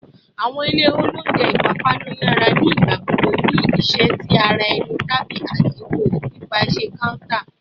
Awọn ilẹ ounjẹ ipapanu yara ni igbagbogbo ni iṣẹ ti ara ẹni tabi eto pipaṣẹ counter